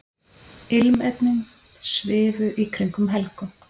Ilmefnin svifu í kringum Helgu.